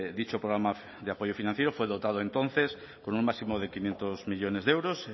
dicho programa de apoyo financiero fue dotado entonces con un máximo de quinientos millónes de euros